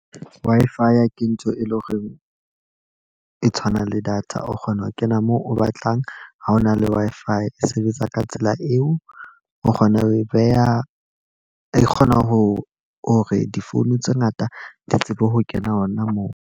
Wi-Fi ya ke ntho e leng hore e tshwanang le data. O kgona ho kena moo o batlang, ha ona le Wi-Fi, e sebetsa ka tsela eo. O kgona ho e beha e kgona ho hore di-phone tse ngata di tsebe ho kena hona moo.